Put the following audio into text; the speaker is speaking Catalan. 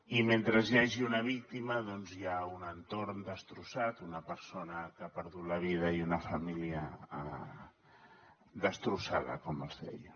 i mentre hi hagi una víctima doncs hi ha un entorn destrossat una persona que ha perdut la vida i una família destrossada com els deia